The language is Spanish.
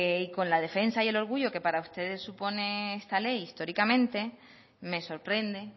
con la defensa y el orgullo que para ustedes supone esta ley históricamente me sorprende